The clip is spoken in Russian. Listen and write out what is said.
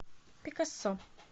пикассо